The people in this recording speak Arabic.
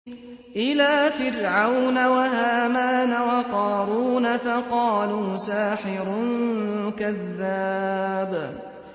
إِلَىٰ فِرْعَوْنَ وَهَامَانَ وَقَارُونَ فَقَالُوا سَاحِرٌ كَذَّابٌ